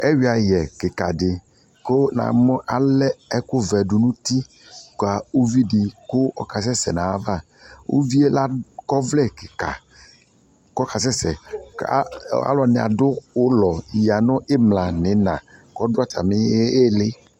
Ɛyiayɛ kika de ko na mu alɛ ɛko vɛ nuti ka uvi de kɔ kasɛsɛ navaUvie la kɔ ɔvlɛ kika kɔ ɔka sɛsɛ ka alɔde ne ado ulɔ yia no imla no ina ko do atame ele1